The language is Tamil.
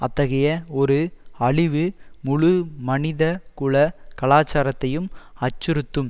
அத்தகைய ஒரு அழிவு முழு மனித குல கலாச்சாரத்தையும் அச்சுறுத்தும்